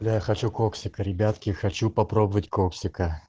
я хочу коксика ребятки хочу попробовать коксика